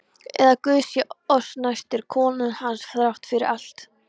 Eða, Guð sé oss næstur, konan hans þrátt fyrir allt.